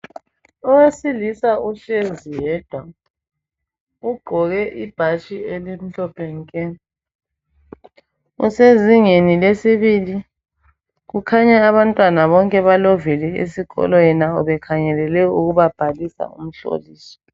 Owesilisa uhlezi yedwa .Ugqoke ibhatshi elimhlophe nke. Kusezingeni lesibili, kukhanya abantwana bonke balovile esikolweni bekhangelele ukubabhalisa umhloliso.